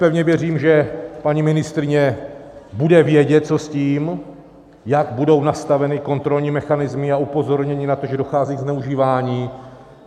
Pevně věřím, že paní ministryně bude vědět, co s tím, jak budou nastaveny kontrolní mechanismy a upozornění na to, že dochází ke zneužívání.